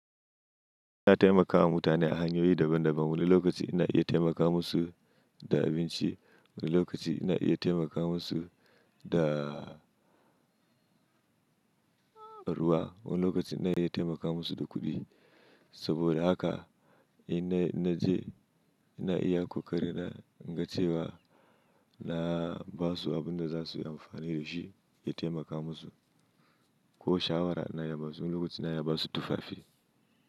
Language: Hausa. Ina taimakawa mutane a hanyoyi daban-daban. Wani lokaci ina iya taimaka musu da abinci, wani lokaci ina iya taimaka musu da ruwa, wani lokaci ina iya taimaka musu da kuɗi. Saboda haka ina, ina je, ina iya kokarin na, na ce wa na ba su abun da za su yi amfani da shi, ya taimaka musu. Ko shawara na iya ba su, wani lokaci na iya ba su tufafi.